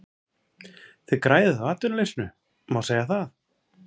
Þið græðið á atvinnuleysinu, má segja það?